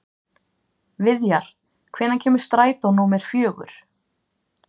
Viðjar, hvenær kemur strætó númer fjögur?